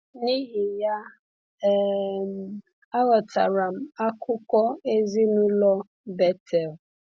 N’ihi ya, um aghọtara m akụkụ ezinụlọ Bethel.